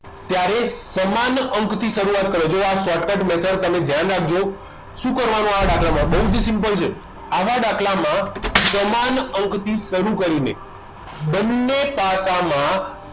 ત્યારે સમાન અંકથી શરૂઆત કરો જોવો આ shortcut method જો તમે ધ્યાન રાખજો શું કરવાનું આવા દાખલામાં બહુ જ simple છે આવા દાખલામાં સમાન અંક થી શરૂ કરીને બંને પાસા માં